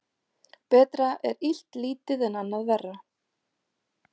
Betra er illt lítið en annað verra.